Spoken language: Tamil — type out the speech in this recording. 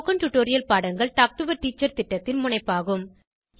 ஸ்போகன் டுடோரியல் பாடங்கள் டாக் டு எ டீச்சர் திட்டத்தின் முனைப்பாகும்